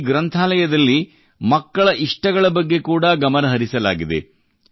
ಈ ಗ್ರಂಥಾಲಯಲ್ಲಿ ಮಕ್ಕಳ ಇಷ್ಟಗಳ ಬಗ್ಗೆ ಕೂಡಾ ಗಮನ ಹರಿಸಲಾಗಿದೆ